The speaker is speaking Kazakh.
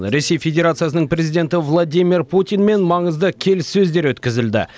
ресей федерациясының президенті владимир путинмен маңызды келіссөздер өткізілді